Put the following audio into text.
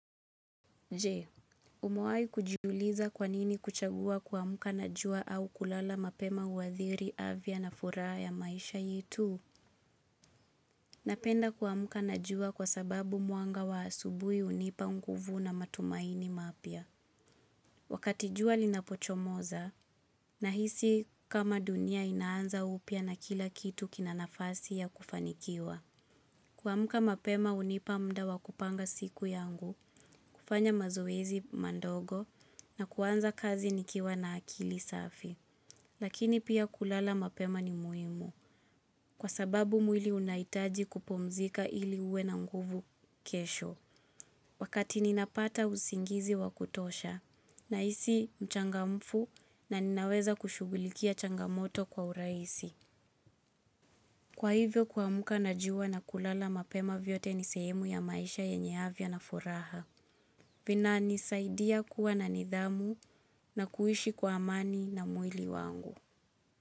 Je, umewahi kujiuliza kwanini kuchagua kuamka na jua au kulala mapema huathiri afya na furaha ya maisha yetu. Napenda kuamka na jua kwa sababu mwanga wa asubuhi hunipa nguvu na matumaini mapya. Wakati jua linapochomoza nahisi kama dunia inaanza upya na kila kitu kina nafasi ya kufanikiwa. Kuamka mapema hunipa muda wa kupanga siku yangu, kufanya mazoezi madogo na kuanza kazi nikiwa na akili safi. Lakini pia kulala mapema ni muhimu kwa sababu mwili unahitaji kupumzika ili uwe na nguvu kesho. Wakati ninapata usingizi wa kutosha nahisi mchangamfu na ninaweza kushughulikia changamoto kwa urahisi. Kwa hivyo kuamka na jua na kulala mapema vyote ni sehemu ya maisha yenye afya na furaha. Vinanisaidia kuwa na nidhamu na kuishi kwa amani na mwili wangu.